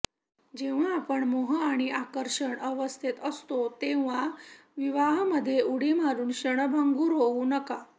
जेव्हा आपण मोह आणि आकर्षण अवस्थेत असतो तेव्हा विवाहामध्ये उडी मारून क्षणभंगुर होऊ नका